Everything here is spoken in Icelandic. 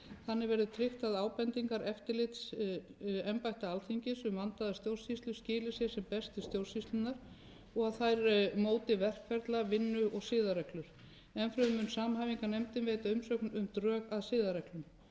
þannig verði tryggt að ábendingar og eftirlit embætta alþingis um vandaða stjórnsýslu skili sér sem best til stjórnsýslunnar og þær móti verkreglur vinnu og siðareglur enn fremur mun samhæfingarnefndin veita umsögn um drög að siðareglum